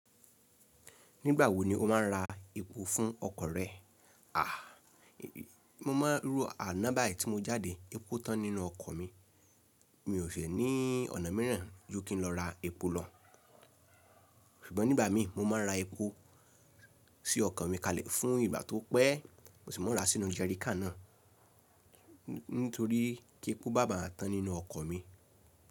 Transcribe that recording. Nígbà wo ni o máa ń ra epo fún ọkọ̀ rẹ? À, mo máa ń rú àná báyi tí mo jáde epo tán nínú ọkọ̀ mi. Mi ò si ní ọ̀nà mìíràn ju kí n lọ ra epo lọ. Ṣùgbọ́n nígbà mi, mo máa ń ra epo sí ọkọ̀ mi kalẹ̀ fún ìgbà tó pẹ́. Mo sì máa ń ra sínú jẹ́ríkà náà, nítorí ki epo maa ba tán nínú ọkọ̀ mi.